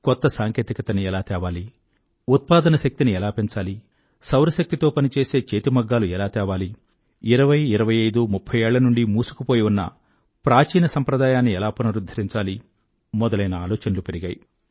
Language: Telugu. కొత్త సాంకేతికత ని ఎలా తేవాలి ఉత్పాదన శక్తిని ఎలా పెంచాలి సౌరశక్తితో పనిచేసే చేతి మగ్గాలు ఎలా తేవాలి 2020 2525 3030 ఏళ్ల నుండీ మూసుకుపోయి ఉన్న ప్రాచీన సాంప్రదాయాన్ని ఎలా పునరుధ్ధరించాలి మొదలైన ఆలోచనలు పెరిగాయి